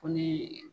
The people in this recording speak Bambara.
Ko ni